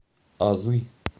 азы